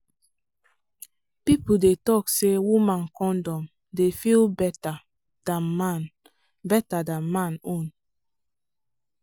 people dey talk say woman condom dey feel better than man better than man own.